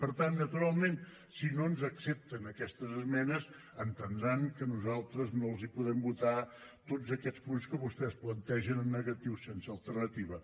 per tant naturalment si no ens accepten aquestes esmenes entendran que nosaltres no els podem votar tots aquests punts que vostès plantegen en negatiu sense alternativa